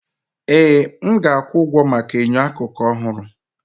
Ee! M ga-akwụ ụgwọ maka enyo akụkụ ọhụrụ.